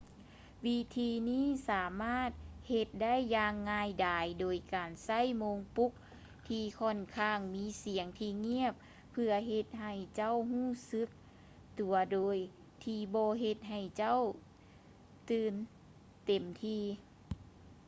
ວິທີນີ້ສາມາດເຮັດໄດ້ຢ່າງງ່າຍດາຍໂດຍການໃຊ້ໂມງປຸກທີ່ຂ້ອນຂ້າງມີສຽງທີ່ງຽບເພື່ອເຮັດໃຫ້ເຈົ້າຮູ້ສຶກຕົວໂດຍທີ່ບໍ່ເຮັດໃຫ້ເຈົ້າຕື່ນເຕັມທີ່